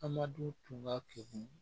Amadu tun ka keku